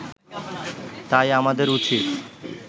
তাই আমাদের উচিত